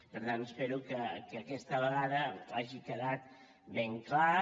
per tant espero que aquesta vegada hagi quedat ben clar